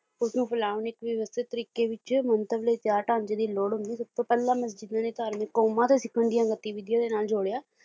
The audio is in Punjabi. ਉਸਨੂੰ ਫੈਲਾਉਣ ਲਈ ਇੱਕ ਵਿਵਸਥਿਤ ਤਰੀਕੇ ਵਿੱਚ ਮੰਤਵ ਲਈ ਤਿਆਰ ਢਾਂਚੇ ਦੀ ਲੋੜ ਹੁੰਦੀ ਸਭਤੋਂ ਪਹਿਲਾਂ ਮਸਜਿਦ ਨੇ ਧਾਰਮਿਕ ਕੌਮਾਂ ਤੇ ਸਿੱਖਣ ਦੀਆਂ ਗਤੀਵਿਧੀਆਂ ਦੇ ਨਾਲ ਜੋੜਿਆ